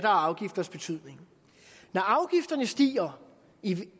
og afgifters betydning når afgifterne stiger i